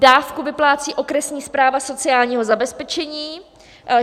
Dávku vyplácí okresní správa sociálního zabezpečení.